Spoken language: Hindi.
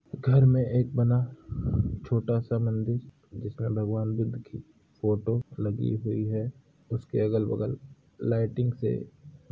घर में एक बना छोटा सा मंदिर जिसमें भगवान बुद्ध की फोटो लगी हुई है उसके अगल- बगल लाइटिंग से --